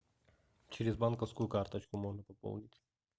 через банковскую карточку можно пополнить